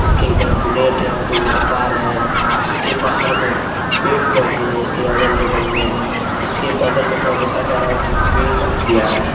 इसके इधर बुलेट है तो उधर कार है। इसके बाहर में पेड़ पौधे हैं। इसके अगल बगल में इसके बगल में थोडा देखा जा रहा की पेड़ सूख गया है।